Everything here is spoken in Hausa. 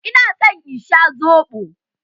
Ina son in sha soɓo.